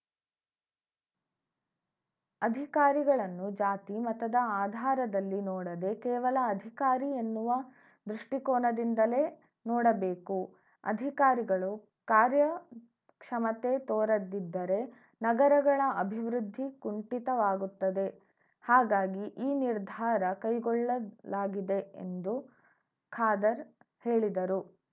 ಅಧಿಕಾರಿಗಳನ್ನು ಜಾತಿ ಮತದ ಆಧಾರದಲ್ಲಿ ನೋಡದೆ ಕೇವಲ ಅಧಿಕಾರಿ ಎನ್ನುವ ದೃಷ್ಟಿಕೋನದಿಂದಲೇ ನೋಡಬೇಕು ಅಧಿಕಾರಿಗಳು ಕಾರ್ಯಕ್ಷಮತೆ ತೋರದಿದ್ದರೆ ನಗರಗಳ ಅಭಿವೃದ್ಧಿ ಕುಂಠಿತವಾಗುತ್ತದೆ ಹಾಗಾಗಿ ಈ ನಿರ್ಧಾರ ಕೈಗೊಳ್ಳಲಾಗಿದೆ ಎಂದು ಖಾದರ್‌ ಹೇಳಿದರು